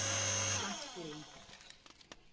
Franklín